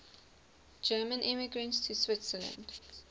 german immigrants to switzerland